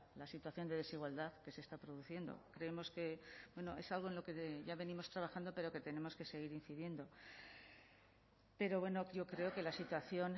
la situación de desigualdad que se está produciendo creemos que es algo en lo que ya venimos trabajando pero que tenemos que seguir incidiendo pero bueno yo creo que la situación